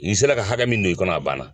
I se la ka hakɛ min don i kɔnɔ a banna.